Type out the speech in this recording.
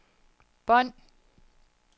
bånd